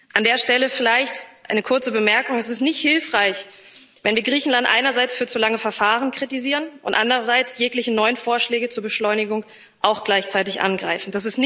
An der Stelle vielleicht eine kurze Bemerkung Es ist nicht hilfreich, wenn wir Griechenland einerseits für zu lange Verfahren kritisieren und andererseits jegliche neuen Vorschläge zur Beschleunigung auch gleichzeitig angreifen.